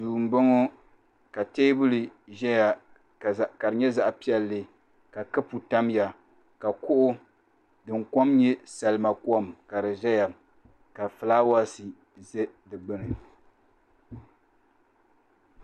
Duu m-bɔŋɔ ka teebuli ʒɛya ka di nyɛ zaɣ' piɛlli ka kapu tamya ka kuɣu din kom nyɛ salima kom ka di zaya ka fulaawaasi za di ɡbuni